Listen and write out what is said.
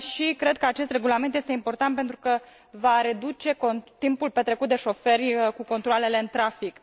Cred că acest regulament este important, pentru că va reduce timpul petrecut de șoferi cu controalele în trafic.